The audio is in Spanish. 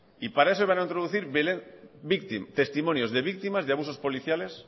y para eso van a introducir testimonios de víctimas de abusos policiales